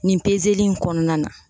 Nin in kɔnɔna na